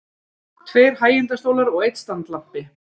Tveir hægindastólar og einn standlampi.